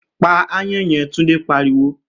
Pa aáyán yen!', Túndé pariwo